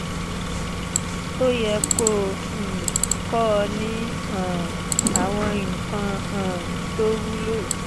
ó yẹ kó o um kọ́ ọ ní um àwọn nǹkan um tó wúlò